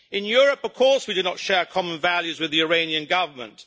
In Europe, of course we do not share common values with the Iranian Government.